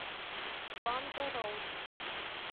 панда роллс